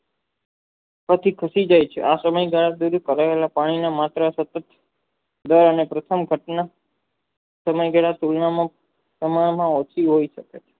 coffee ખૂટી જાય છે આ સમય ગાલા પાણીની માત્ર દર પ્રથમ ઘાટના સમય હોય શકે છે